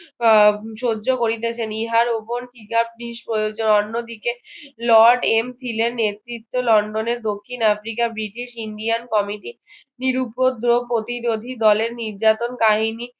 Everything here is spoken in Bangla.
আহ সহ্য করিতেছেন ইহার উপর জিনিস প্রয়োজন অন্যদিকে lord M ছিলেন নেতৃত্ব লন্ডনের দক্ষিণ আফ্রিকার british indian committee নিরুপদ্রব ও প্রতিরোধী দলের নির্যাতন কাহিনী